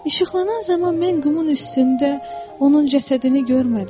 İşıqlanan zaman mən qumun üstündə onun cəsədini görmədim.